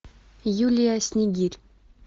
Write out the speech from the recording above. юлия снегирь